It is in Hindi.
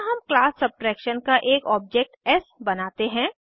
यहाँ हम क्लास सबट्रैक्शन का एक ऑब्जेक्ट एस बनाते हैं